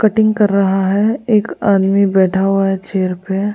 Cutting कर रहा है एक आदमी बैठा हुआ है चेयर पे।